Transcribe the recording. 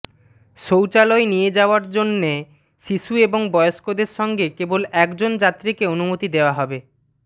শৌচালয়ে নিয়ে যাওয়ার জন্য শিশু এবং বয়স্কদের সঙ্গে কেবল একজন যাত্রীকে অনুমতি দেওয়া হবে